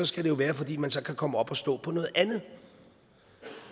skal det jo være fordi man så kan komme op at stå på noget andet